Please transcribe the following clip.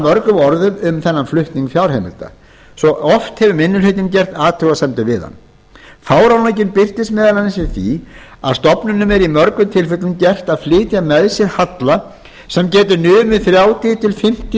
mörgum orðum um þennan flutning fjárheimilda svo oft hefur minni hlutinn gert athugasemdir við hann fáránleikinn birtist meðal annars í því að stofnunum er í mörgum tilfellum gert að flytja með sér halla sem getur numið þrjátíu til fimmtíu